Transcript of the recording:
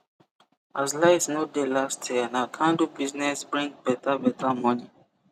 as light no dey last year na candle business bring beta beta moni